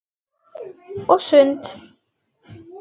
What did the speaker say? Og sund.